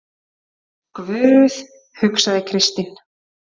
Guð, hugsaði Kristín.